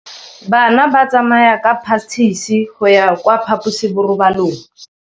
Bana ba tsamaya ka phašitshe go ya kwa phaposiborobalong.